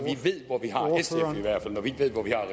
vi ved hvor vi har